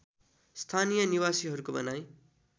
स्‍थानीय निवासीहरूको भनाइ